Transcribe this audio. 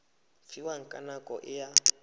fiwang ka nako e a